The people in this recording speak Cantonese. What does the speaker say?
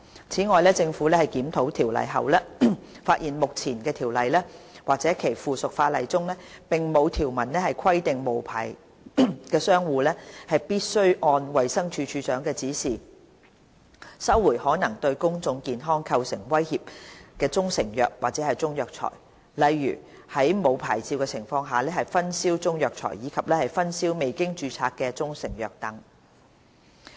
此外，政府檢討《條例》後，發現目前《條例》或其附屬法例中，並無條文規定無牌商戶必須按衞生署署長的指示，收回可能對公眾健康構成威脅的中成藥或中藥材，例如在沒有牌照的情況下分銷中藥材，以及分銷未經註冊的中成藥等。